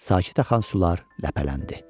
Sakit axan sular ləpələndi.